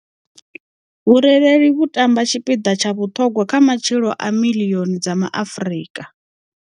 Vhurereli vhu tamba tshipiḓa tsha vhuṱhogwa kha matshilo a miḽioni dza Ma Afrika.